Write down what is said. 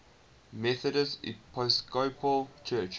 methodist episcopal church